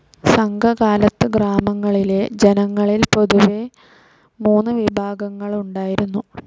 സംഘകാലത്ത് ഗ്രാമങ്ങളിലെ ജനങ്ങളിൽ പൊതുവെ മൂന്ന് വിഭാഗങ്ങളുണ്ടായിരുന്നു.